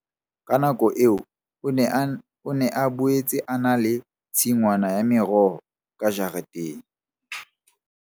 Ka nako eo o ne a boetse a na le tshingwana ya meroho ka jareteng.